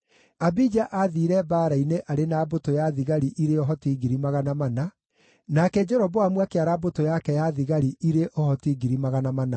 Abija aathiire mbaara-inĩ arĩ na mbũtũ ya thigari irĩ ũhoti 400,000, nake Jeroboamu akĩara mbũtũ yake ya thigari irĩ ũhoti 800,000.